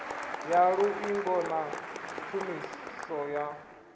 ya luṱingo na tshumiso ya